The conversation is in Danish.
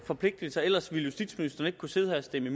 forpligtelser ellers ville justitsministeren ikke kunne sidde her og stemme